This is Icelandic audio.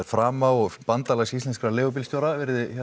frama og bandalgs íslenskra leigubílstjóra